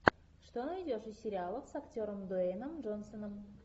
что найдешь из сериалов с актером дуэйном джонсоном